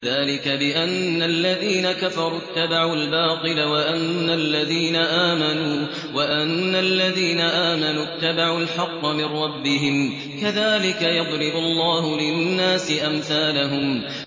ذَٰلِكَ بِأَنَّ الَّذِينَ كَفَرُوا اتَّبَعُوا الْبَاطِلَ وَأَنَّ الَّذِينَ آمَنُوا اتَّبَعُوا الْحَقَّ مِن رَّبِّهِمْ ۚ كَذَٰلِكَ يَضْرِبُ اللَّهُ لِلنَّاسِ أَمْثَالَهُمْ